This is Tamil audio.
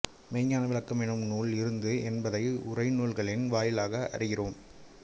மெய்ஞ்ஞான விளக்கம் என்னும் நூல் இருந்தது என்பதை உரைநூல்களின் வாயிலாக அறிகிறோம்